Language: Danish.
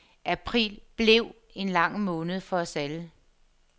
April blev en lang måned for os alle.